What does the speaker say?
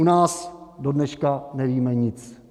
U nás dodneška nevíme nic.